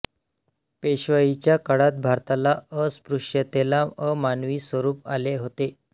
पेशवाईच्या काळात भारतात अस्पृश्यतेला अमानवी स्वरूप आले होते